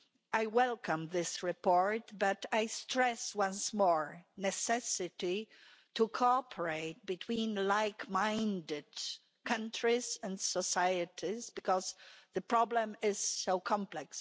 I welcome this report, but I stress once more the necessity to cooperate between like-minded countries and societies, because the problem is so complex.